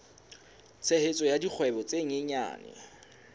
tshehetso ya dikgwebo tse nyenyane